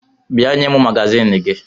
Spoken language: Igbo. Bịa nye m magazin gị!